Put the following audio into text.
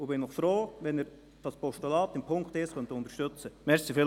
Ich wäre froh, wenn Sie den Punkt 1 dieses Postulats unterstützen könnten.